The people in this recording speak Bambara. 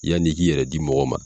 Yanni i k'i yɛrɛ di mɔgɔ ma